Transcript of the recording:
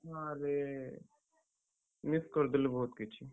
ଆରେ, miss କରିଦେଲୁ ବହୁତ୍ କିଛି।